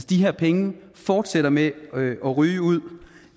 de her penge fortsætter med ryge ud